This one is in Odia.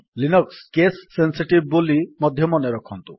ଲିନକ୍ସ୍ କେସ୍ ସେନ୍ସିଟିଭ୍ ବୋଲି ମଧ୍ୟ ମନେରଖନ୍ତୁ